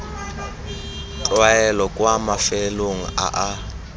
tlwaelo kwa mafelong a a